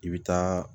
I bɛ taa